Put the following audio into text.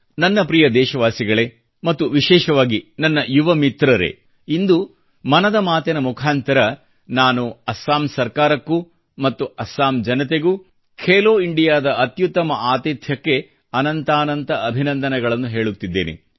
ನನ್ನ ಪ್ರೀತಿಯ ದೇಶವಾಸಿಗಳೇ ಮತ್ತು ವಿಶೇಷವಾಗಿ ನನ್ನ ಯುವ ಮಿತ್ರರೇ ಇಂದು ಮನದ ಮಾತಿನ ಮುಖಾಂತರ ನಾನು ಅಸ್ಸಾಂ ಸರ್ಕಾರಕ್ಕೂ ಮತ್ತು ಅಸ್ಸಾಂ ಜನತೆಗೂ ಖೇಲೋ ಇಂಡಿಯಾ ದ ಅತ್ಯುತ್ತಮ ಆತಿಥ್ಯಕ್ಕ್ಕೆ ಅನಂತಾನಂತ ಅಭಿನಂದನೆಗಳನ್ನು ಹೇಳುತ್ತಿದ್ದೇನೆ